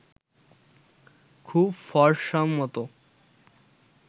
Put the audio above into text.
খুব ফরসামতো